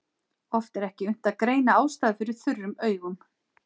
Oft er ekki unnt að greina ástæður fyrir þurrum augum.